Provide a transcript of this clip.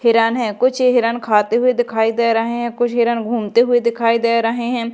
हिरन हैं कुछ हिरन खाते हुए दिखाई दे रहे हैं कुछ हिरन घूमते हुए दिखाई दे रहे हैं।